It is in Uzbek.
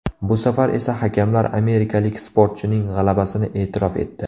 Bu safar esa hakamlar amerikalik sportchining g‘alabasini e’tirof etdi.